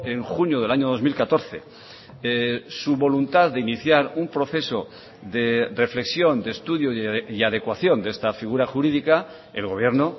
en junio del año dos mil catorce su voluntad de iniciar un proceso de reflexión de estudio y adecuación de esta figura jurídica el gobierno